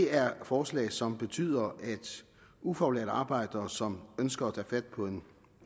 er forslag som betyder at ufaglærte arbejdere som ønsker at tage fat på en